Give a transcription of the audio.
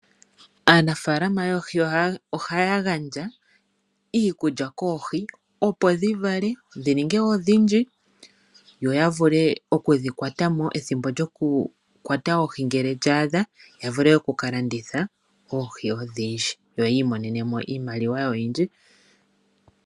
Aanafaalama yoohi ohaya gandja iikulya koohi, opo dhivale dhi ninge odhindji yoyavule okudhikwatamo ethimbo lyokukwata oohi ngele lya adha, ya vule okukalanditha oohi odhindji yo yiimonene mo iimaliwa oyindji.